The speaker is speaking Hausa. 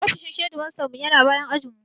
Ofishin hedimastanmu ya na bayan ajinmu.